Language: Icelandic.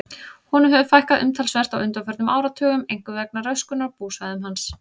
Honum hefur fækkað umtalsvert á undanförnum áratugum, einkum vegna röskunar á búsvæðum hans.